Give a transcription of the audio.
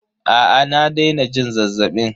Aa na daina jin zazzabin.